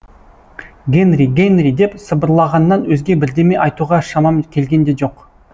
гэнри гэнри деп сыбырлағаннан өзге бірдеме айтуға шамам келген де жоқ